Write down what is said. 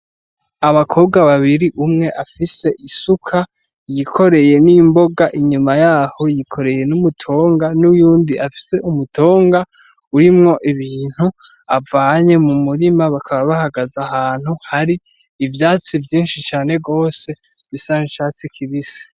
Abakobwa babiri umwe afise isuka, yikoreye n'imboga, inyuma yaho yikoreye n'umutonga, n'uyundi afise umutonga urimwo ibintu avanye mu murima, bakaba bahagaze ahantu hari ivyatsi vyinshi cane gose bisa n'icatsi kibise.